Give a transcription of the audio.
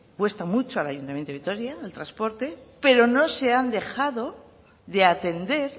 cuesta mucho al ayuntamiento de vitoria el transporte pero no se ha dejado de atender